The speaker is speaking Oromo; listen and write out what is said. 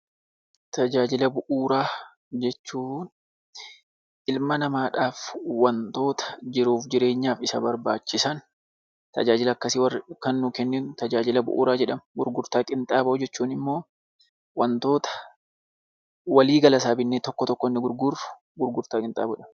Tajaajila bu'uuraa jechuun ilma namaadhaaf wantoota jiruuf jireenyaaf isa barbaachisan, tajaajila akkasii kan nuu kennan 'Tajaajila bu'uuraa' jedhamu. Gurgurtaa Qinxaaboo jechuun immoo wantoota walii gala isaa bitnee tokko tokkoon gurgurru 'Gurgurtaa Qinxaaboo' dha.